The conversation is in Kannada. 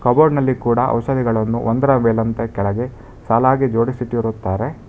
ಕಬೋರ್ಡ್ ನಲ್ಲಿ ಕೂಡ ಔಷಧಿಗಳನ್ನು ಒಂದರ ಮೇಲಂತ ಕೆಳಗೆ ಸಾಲಾಗಿ ಜೋಡಿಸಿಟ್ಟಿರುತ್ತಾರೆ.